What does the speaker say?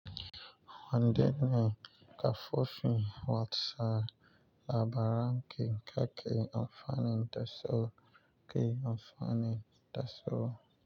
Wandenne, Kafufin, watsa, Labaranki, kake, amfani, Daso, ke amfani, Daso.